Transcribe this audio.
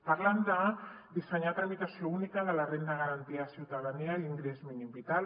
parlen de dissenyar la tramitació única de la renda garantida de ciutadania i l’ingrés mínim vital